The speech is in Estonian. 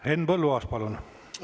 Henn Põlluaas, palun!